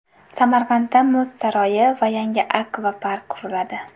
Samarqandda Muz saroyi va yangi akvapark quriladi.